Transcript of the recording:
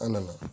An nana